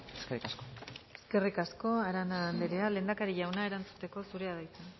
eskerrik asko eskerrik asko arana andrea lehendakari jauna erantzuteko zurea da hitza